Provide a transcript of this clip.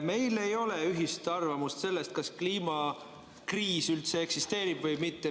Meil ei ole ühist arvamust selles, kas kliimakriis üldse eksisteerib või mitte.